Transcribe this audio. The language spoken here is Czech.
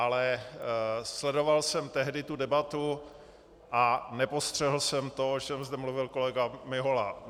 Ale sledoval jsem tehdy tu debatu a nepostřehl jsem to, o čem zde mluvil kolega Mihola.